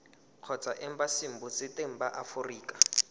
kgotsa embasing botseteng ba aforika